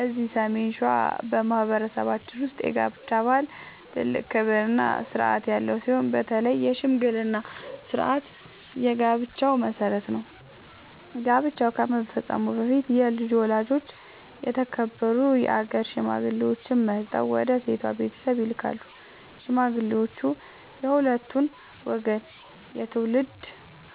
እዚህ ሰሜን ሸዋ በማኅበረሰባችን ውስጥ የጋብቻ ባህል ትልቅ ክብርና ሥርዓት ያለው ሲሆን፣ በተለይ የሽምግልና ሥርዓት የጋብቻው መሠረት ነው። ጋብቻ ከመፈጸሙ በፊት የልጁ ወላጆች የተከበሩ የአገር ሽማግሌዎችን መርጠው ወደ ሴቷ ቤተሰብ ይልካሉ። ሽማግሌዎቹ የሁለቱን ወገን የትውልድ